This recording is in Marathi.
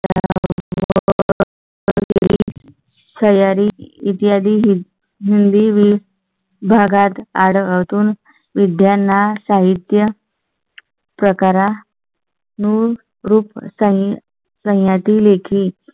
स्यारी इत्यादी हिंदी वेळ भागात आढळून विज्ञाना साहित्य. प्रकारा. नू रूप सांग सह यातील